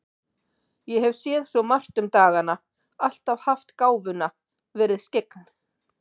Ég hef séð svo margt um dagana, alltaf haft gáfuna, verið skyggn.